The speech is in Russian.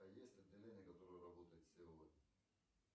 есть отделение которое работает сегодня